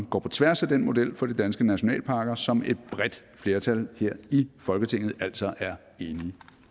går på tværs af den model for de danske nationalparker som et bredt flertal her i folketinget altså er enig